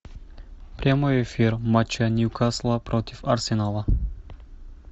прямой эфир матча ньюкасла против арсенала